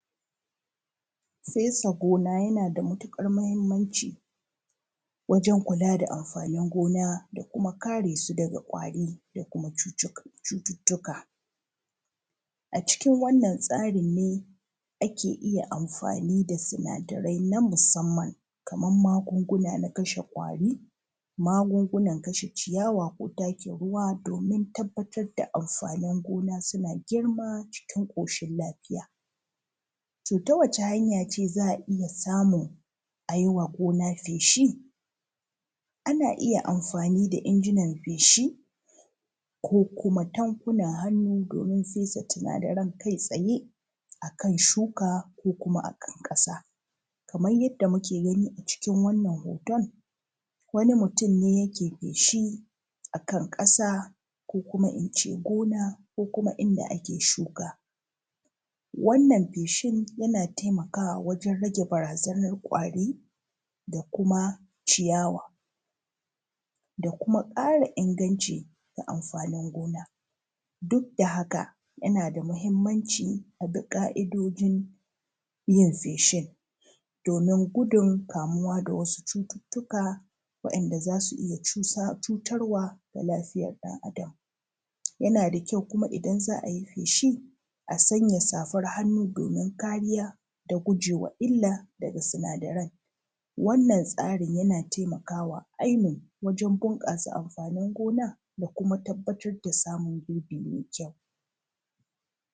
Saisa gona yana da matuƙar muhimmanci wajen kula da amfaanin gona da kuma kare su daga ƙwari da kuma cututtuka, a cikin wannan tsarin ne ake iya amfaani da sinadarai na musamman kaman magunguna na kashe ƙwaari, magungunan kashe ciyawa ko takin ruwa doomin tabbatar da amfaanin gona suna girma cikin ƙooshin lafiya, to ta wace hanya ce za a iya samun a ji wa gona feeshi? Ana iya amfaani da injinan feeshi ko kuma tankunan hannu doomin fesa sinadaran kai tsaye a kan shuka ko kuma a kan ƙasa, kamai jadda muke gani a cikin wannan hooton, wani mutum ne yake feeshi a kan ƙasa ko kuma in cee gona ko kuma inda ake shuka. Wannan feeshin yana taimakawa wajen rage baraazanar ƙwaari da kuma ciyawa, da kuma ƙara inganci ga amfaanin gona duk da haka yana da mahimmanci a bi ƙa'idoǳin yin feeshin, domin gudun kamuwa da wasu cututtuka wa'inda za su iya cuutar wa ga lafiyar ɗan'Adam. Yana da kyau kuma idan za a yi feeshin a sanya safar hannu doomin kariya da gujewa illa daga sinadaran. Wannan tsarin yana taimakawa ainun wajen bunƙasa amfaanin gona da kuma tabbatar da samun gurbi mai kyau.